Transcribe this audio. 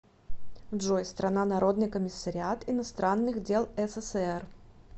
джой страна народный комиссариат иностранных дел ссср